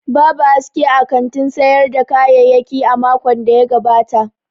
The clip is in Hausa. Babu haske a kantin sayar da kayayyaki a makon da ya gabata.